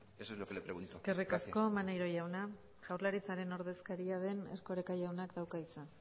eso es lo que le pregunto gracias eskerrik asko maneiro jauna jaurlaritzaren ordezkari den erkoreka jaunak dauka hitza